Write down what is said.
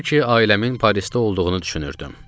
Halbuki ailəmin Parisdə olduğunu düşünürdüm.